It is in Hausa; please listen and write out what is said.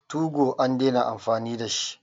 TU go an dena amfani da shi